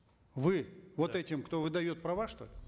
вы вот этим кто выдает права что ли